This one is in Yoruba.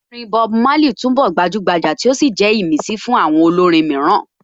Orin Bob Marley túnbọ̀ gbajúgbajà tí ó sì jẹ́ ìmísí fún àwọn olórin mìíràn